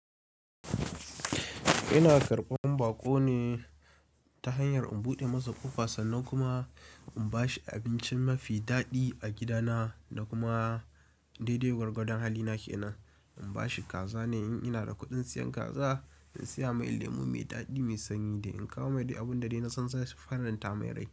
Ina karɓan baƙo ne ta hanyar in buɗe masa ƙofa sannan kuma in bashi abincin mafi daɗi a gidana da kuma daidai gwargwadon halina ke nan. In bashi kaza ne in ina da kuɗin siyan kaza, in siya mai lemu mai daɗi mai sanyi da in kawo mai dai abun da na san zai faranta mai rai.